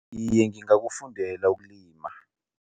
Iye, ngingakufundela ukulima.